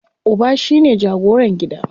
Uba shine jagoran gida.